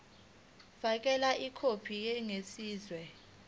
fakela ikhophi eqinisekisiwe